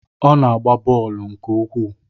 Ọ na-agba bọọlụ nke ukwuu